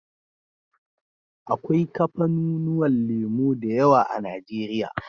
Akwai kafanu nuwan lemo dayawa a nigeria